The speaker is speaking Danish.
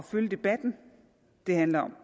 følge debatten det handler om